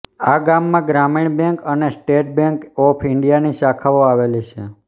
આ ગામમાં ગ્રામીણ બેન્ક અને સ્ટેટ બેન્ક ઓફ ઇન્ડિયાની શાખાઓ આવેલી છે